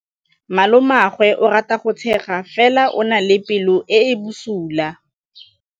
Malomagwe o rata go tshega fela o na le pelo e e bosula.